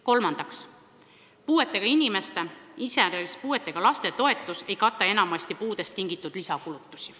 Kolmandaks, puuetega inimeste, iseäranis puuetega laste toetus ei kata enamasti puudest tingitud lisakulutusi.